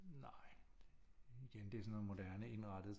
Nej igen det er sådan noget moderne indrettet